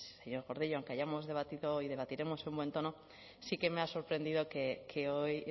señor gordillo aunque hayamos debatido hoy debatiremos en un buen tono sí que me ha sorprendido que hoy